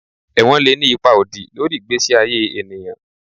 Ewon le ni ipa odi lori igbesi aye eniyan